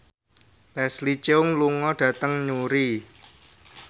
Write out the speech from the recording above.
Leslie Cheung lunga dhateng Newry